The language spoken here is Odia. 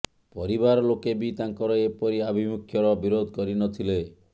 ପରିବାର ଲୋକେ ବି ତାଙ୍କର ଏପରି ଆଭିମୁଖ୍ୟର ବିରୋଧ କରି ନ ଥିଲେ